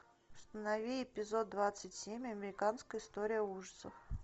установи эпизод двадцать семь американская история ужасов